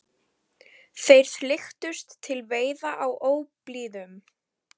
Þeir flykktust til veiða á óblíðum